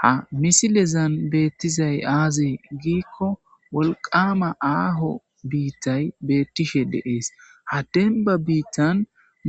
ha misilezan beettizay aaze giikko wolqama aaho biittay beettishe de'ees ha denba biittan